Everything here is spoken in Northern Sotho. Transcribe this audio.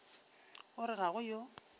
o re ga go yo